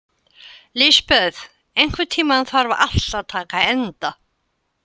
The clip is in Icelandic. Lisbeth, einhvern tímann þarf allt að taka enda.